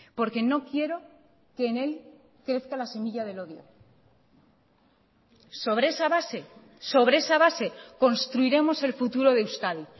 porque no quiero que en él crezca la semilla del odio sobre esa base sobre esa base construiremos el futuro de euskadi